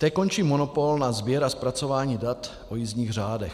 Té končí monopol na sběr a zpracování dat o jízdních řádech.